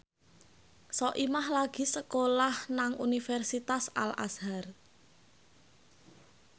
Soimah lagi sekolah nang Universitas Al Azhar